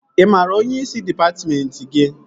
Ị maara onyeisi dịpatmentị gị?